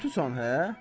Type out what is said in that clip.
Lotusan, hə?